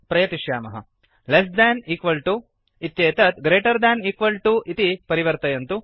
less than equal to less than equal to इत्येतत्greater than equal to greater than equal to प्रति परिवर्तयन्तु